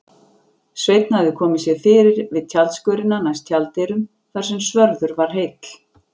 Sveinn hafði komið sér fyrir við tjaldskörina næst tjalddyrum þar sem svörður var heill.